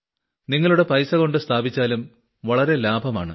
താങ്കളുടെ പൈസകൊണ്ട് സ്ഥാപിച്ചാലും വളരെ ലാഭമാണ്